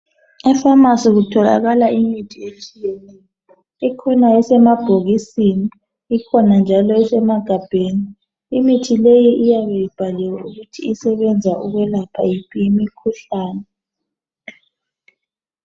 Efamasi kutholakala imithi etshiyetshiyeneyo ikhona esemabhokini ikhona esemaphepheni imithi leyi iyabe ibhaliwe ukuthi usebenza ukwelapha yiphi imikhuhlane